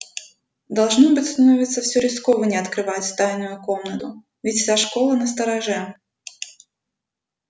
должно быть становится всё рискованней открывать тайную комнату ведь вся школа настороже